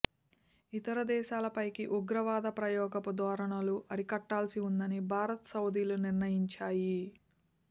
ఇతర దేశాలపైకి ఉగ్రవాద ప్రయోగపు ధోర ణులను అరికట్టాల్సి ఉందని భారత్ సౌదీలు నిర్ణయించాయి